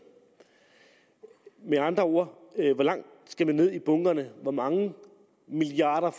med andre ord hvor langt skal man ned i bunkerne hvor mange milliarder